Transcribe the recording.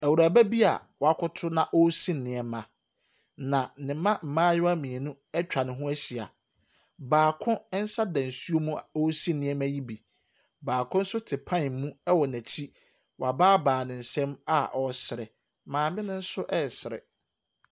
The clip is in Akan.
Awuraba bi a wakoto na ɔresi nneɛma. Na ne mma mmayewa mmienu atwa ne ho ahyia. Baako nsa da nsuo mu a ɔresi nneɛma yi bi. Baako nso te pan mu wɔ n'akyi. Wabaabaa ne nsam a ɔresere. Maame no nso resere.